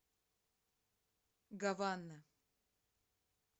гавана